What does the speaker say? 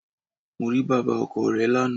Mo rí bàbá ọkọ re lánàá